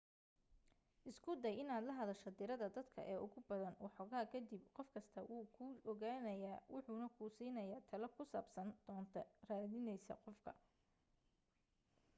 isku day inaad la hadasho tirada dadka ee ugu badan waxoogaa ka dib qof kastaa wuu ku ogaanaya wuxuna ku siinayaa talo ku saabsan doonta raadinaysa qof